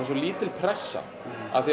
svo lítil pressa